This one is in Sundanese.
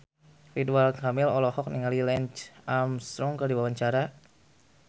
Ridwan Kamil olohok ningali Lance Armstrong keur diwawancara